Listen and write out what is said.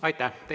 Aitäh!